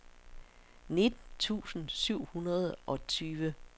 nitten tusind syv hundrede og tyve